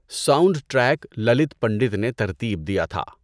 Sound track Lalit Pandit نے ترتیب دیا تھا۔